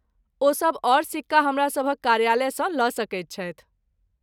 ओ सभ आओर सिक्का हमरासभक कार्यालयसँ लऽ सकैत छथि।